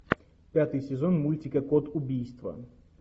пятый сезон мультика код убийства